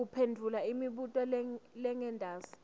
uphendvula imibuto lengentasi